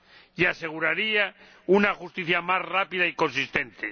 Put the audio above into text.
y aseguraría una justicia más rápida y consistente.